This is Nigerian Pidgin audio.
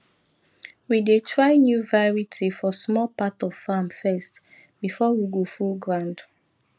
we dey try new variety for small part of farm first before we go full ground